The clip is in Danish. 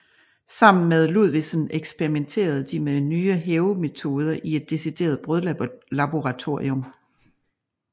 Sammen med Ludvigsen eksperimenterede de med nye hævemetoder i et decideret brødlaboratorium